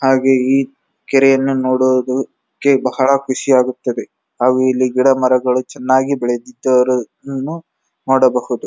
ಹಾಗೆ ಈ ಕೆರೆಯನ್ನು ನೋಡುವುದಕ್ಕೆ ಬಹಳ ಖುಷಿ ಆಗುತ್ತದೆ ಹಾಗು ಇಲ್ಲಿ ಗಿಡ ಮರಗಳು ಚೆನ್ನಾಗಿ ಬೆಳೆದಿದನ್ನು ನೋಡಬಹುದು.